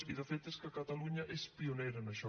i de fet és que catalunya és pionera en això